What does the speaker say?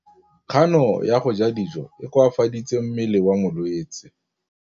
Kganô ya go ja dijo e koafaditse mmele wa molwetse.